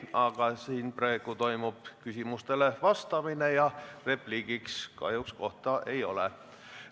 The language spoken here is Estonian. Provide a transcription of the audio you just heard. Aga praegu toimub küsimustele vastamine ja repliigile kahjuks kohta ei ole.